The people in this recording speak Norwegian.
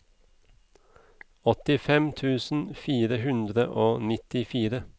åttifem tusen fire hundre og nittifire